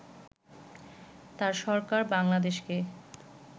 তাঁর সরকার বাংলাদেশকে